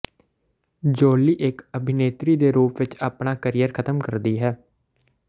Jolie ਇੱਕ ਅਭਿਨੇਤਰੀ ਦੇ ਰੂਪ ਵਿੱਚ ਆਪਣਾ ਕਰੀਅਰ ਖਤਮ ਕਰਦੀ ਹੈ